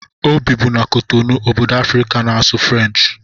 O bibu na Kotonou, obodo Afrịka na-asụ Frenchi